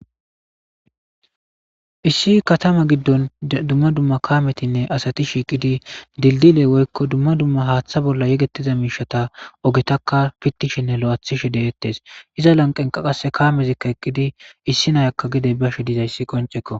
Issi katama gidon dumma dumma kametinne asati shiqidi dilidiye woykon haththa bolla yegetiza misheta ogetaka pitishenne lo'ithishe de'etes. Iza lanqenka qassakka kamezi eqidi issi nayaka gede Bashe dizaysi qonc'ekko.